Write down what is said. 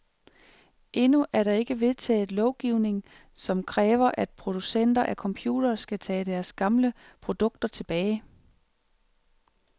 Endnu er der ikke vedtaget lovgivning, som kræver, at producenter af computere skal tage deres gamle produkter tilbage.